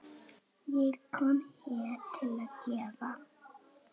Ég kom til að gefa.